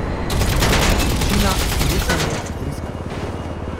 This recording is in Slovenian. Vročina, bruhanje, driska.